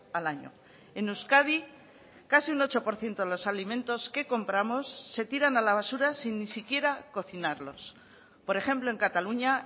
al año en euskadi casi un ocho por ciento de los alimentos que compramos se tiran a la basura sin ni siquiera cocinarlos por ejemplo en cataluña